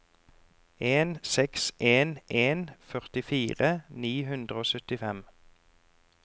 en seks en en førtifire ni hundre og syttifem